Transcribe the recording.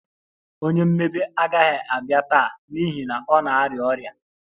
Onye mmebe agaghị abịa taa n'ihi na ọ na-arịa ọrịa